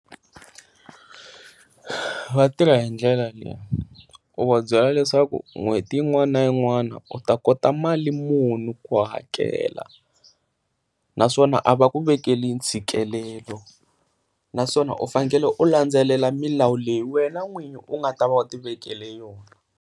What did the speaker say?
Vatirha hi ndlela leyi u va byela leswaku n'hweti yin'wana na in'wana u ta kota mali munhu ku hakela, naswona a va ku vekeli ntshikelelo naswona u fanele u landzelela milawu leyi wena n'winyi u nga ta va u tivekele yona.